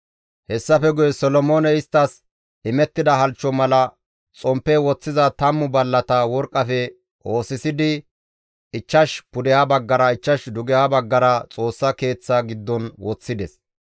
Hessafe guye Solomooney isttas imettida halchcho mala xomppe woththiza 10 ballata worqqafe oosisidi, 5 pudeha baggara, 5 dugeha baggara Xoossa Keeththaa giddon woththides.